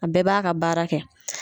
A bɛɛ b'a ka baara kɛ.